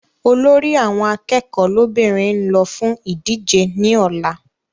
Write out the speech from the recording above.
Olórí àwọn akẹ́kọ̀ọ́ lọ́bìnrin n lọ fún ìdíje ní ọ̀la